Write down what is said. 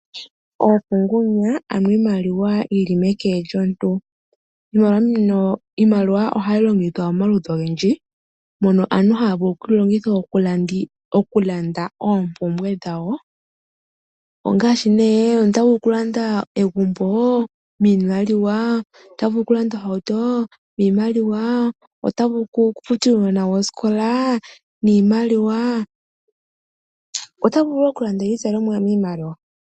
Oofungunya, ano iimaliwa yi li meke lyomuntu. Iimaliwa ohayi longithwa momaludhi ogendji mono aantu haya vulu oku yi longitha okulanda oompumbwe dhawo, ongaashi nee omuntu ota vulu okulanda egumbo niimaliwa, ota vulu okulanda ohauto niimaliwa, ota vulu okufutila uunona we osikola niimaliwa, ota vulu wo okulanda iizalomwa niimaliwa.